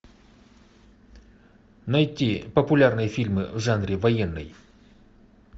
найти популярные фильмы в жанре военный